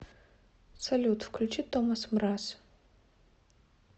салют включи томас мраз